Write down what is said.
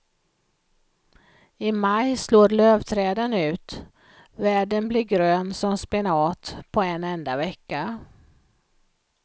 I maj slår lövträden ut, världen blir grön som spenat på en enda vecka.